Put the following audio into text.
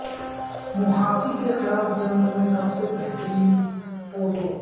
مںہاسی کے خلاف جنگ میں سب سے بہترین پودوں